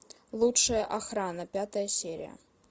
лучшая охрана пятая серия